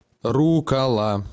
руккола